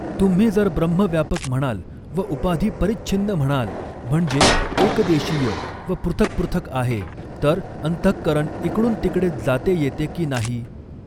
तुम्ही जर ब्रह्म व्यापक म्हणाल व उपाधी परिच्छिन्न म्हणाल म्हणजे एकदेशीय व पृथक् पृथक् आहे तर अंतहकरण इकडून तिकडे जाते येते की नाही?